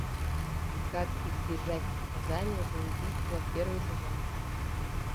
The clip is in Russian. как избежать наказания за убийство первый сезон